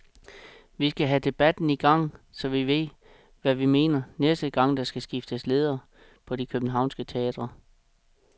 Vi skal have debatten i gang, så vi ved, hvad vi mener, næste gang der skal skiftes ledere på de københavnske teatre.